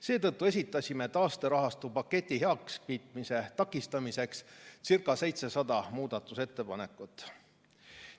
Seetõttu esitasime taasterahastupaketi heakskiitmise takistamiseks ca 700 muudatusettepanekut.